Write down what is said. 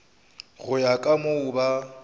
go ya ka moo ba